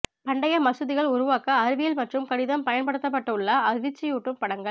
பண்டைய மசூதிகள் உருவாக்க அறிவியல் மற்றும் கணிதம் பயன்படுத்தப்பட்டுள்ள அதிர்ச்சியூட்டும் படங்கள்